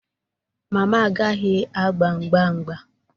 Mama agaghị agba mgba mgba